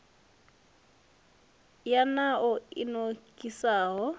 ya nan o i nokisaho